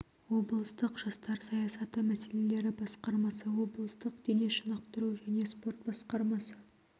облыстық жастар саясаты мәселелері басқармасы облыстық дене шынықтыру және спорт басқармасы